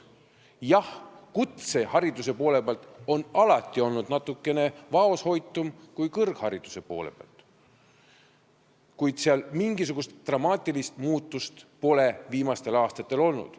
Jah, kutsehariduse poole peal on valik alati olnud natukene vaoshoitum kui kõrghariduse poole peal, kuid mingisugust dramaatilist muutust pole viimastel aastatel olnud.